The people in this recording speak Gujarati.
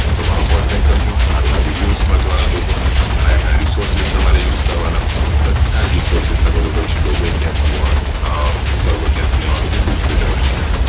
તો અમારો contact કરજો આગળ videos બધા જોજો ક્યાં ક્યાં Resources તમારે use કરવાના બધા જ Resources Available છે doservermain ક્યાંથી લેવાનું server ક્યાંથી લેવાનું બધું જ જણવ્યું છે